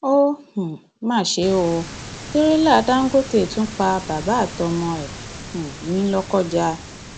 ó um mà ṣe ò tẹrẹlá dàńgọtẹ tún pa bàbá àtọmọ ẹ um ní lọkọjá